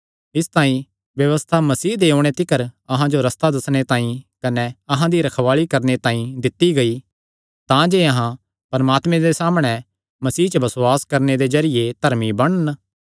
इसतांई व्यबस्था मसीह दे ओणे तिकर अहां जो रस्ता दस्सणे तांई कने अहां दी रखवाल़ी करणे तांई दित्ती गेई तांजे अहां परमात्मे दे सामणै मसीह च बसुआस करणे दे जरिये धर्मी बणन